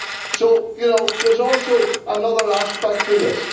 So, you know, there is also another aspect to this.